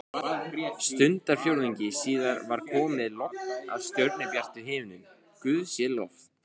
Stundarfjórðungi síðar var komið logn og stjörnubjartur himinn, guði sé lof.